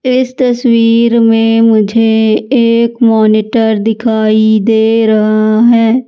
इस तस्वीर में मुझे एक मॉनिटर दिखाई दे रहा है।